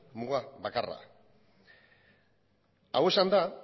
muga bakarra hau esanda